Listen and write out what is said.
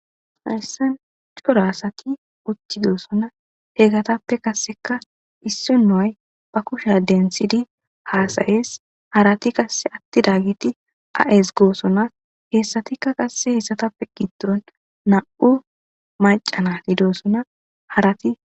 Haysan cora asati uttidosona eetappeka issinoy ba kushiya denthidi haasa7es harati qasse ezgishe dosona harati nam7u macca naati doosona.